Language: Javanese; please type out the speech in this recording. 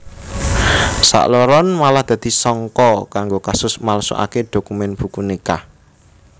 Sakloron malah dadi sangka kanggo kasus malsukaké dokumen buku nikah